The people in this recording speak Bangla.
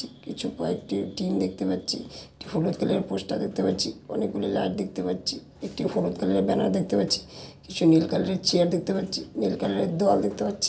কিছু কয়েকটি টিন দেখতে পাচ্ছি। হলুদ কালার এর পোস্টার দেখতে পাচ্ছি অনেক গুলো লাইট দেখতে পাচ্ছি একটি হলুদ কালার এর ব্যানার দেখতে পাচ্ছি কিছু নীল কালার এর চেয়ার দেখতে পাচ্ছি নীল কালার এর দেওয়াল দেখতে পাচ্ছি।